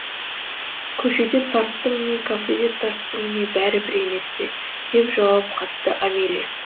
көшеде тарттың не кафеде тарттың не бәрібір емес пе деп жауап қатты амелия